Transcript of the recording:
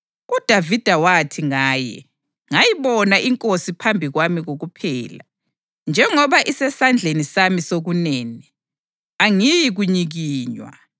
UDavida wathi ngaye: ‘Ngayibona iNkosi iphambi kwami kokuphela. Njengoba isesandleni sami sokunene, angiyi kunyikinywa.